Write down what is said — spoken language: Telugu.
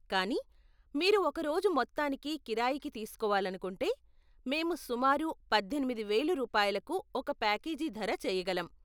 కానీ, మీరు ఒక రోజు మొత్తానికి కిరాయికి తీస్కోవాలనుకుంటే, మేము సుమారు పద్దెనిమిది వేలు రూపాయలకు ఒక ప్యాకేజీ ధర చేయగలం.